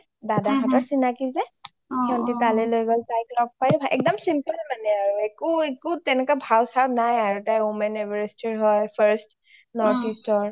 দাদা হতৰ চিনাকি যে , সিহতি তালে লৈ গ’ল , তাইক ল’গ পাইও ভাল লাগিল একদম simple মানে আৰু, একো একো তেনেকুৱা ভাও চাও নাই আৰু তাই women everest ৰ হয় first northeast ৰ